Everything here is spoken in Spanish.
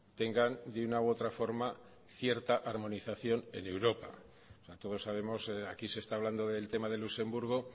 tengan de una u otra forma cierta armonización en europa todos sabemos aquí se está hablando del tema de luxemburgo